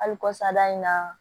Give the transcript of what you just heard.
Hali kɔsa da in na